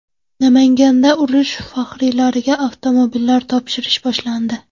Namanganda urush faxriylariga avtomobillar topshirish boshlandi.